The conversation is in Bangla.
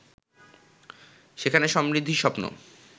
সেখানে সমৃদ্ধির স্বপ্ন